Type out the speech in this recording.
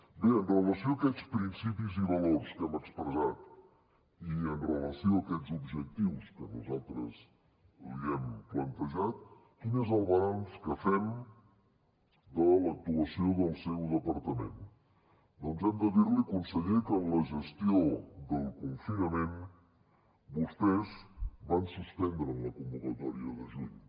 bé amb relació a aquests principis i valors que hem expressat i amb relació a aquests objectius que nosaltres li hem plantejat quin és el balanç que fem de l’actuació del seu departament doncs hem de dir li conseller que en la gestió del confinament vostès van suspendre en la convocatòria de juny